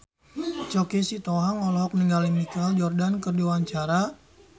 Choky Sitohang olohok ningali Michael Jordan keur diwawancara